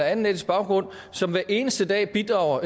anden etnisk baggrund som hver eneste dag bidrager